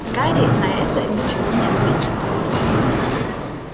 гарри на это ничего не ответил